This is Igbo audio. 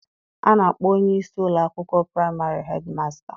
A na-akpọ onye isi ụlọ akwụkwọ praịmarị hedmasta